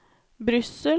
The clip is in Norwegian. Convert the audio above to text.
Brussel